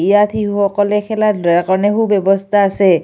ইয়াত শিশুসকলে খেলা ব্যৱস্থা আছে।